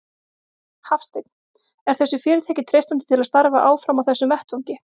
Hafsteinn: Er þessu fyrirtæki treystandi til að starfa áfram á þessum vettvangi?